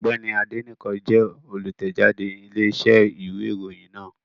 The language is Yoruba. Ọ̀gbẹ́ni Adénẹ́kàn jẹ́ olùtẹ̀jáde Iléeṣẹ́ ìwé ìròyìn náà